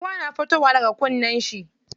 Ruwa na fitowa daga kunnan shi.